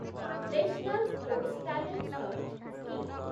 national sports talent search scheme